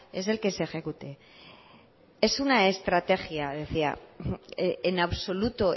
es el que se ejecute es una estrategia decía en absoluto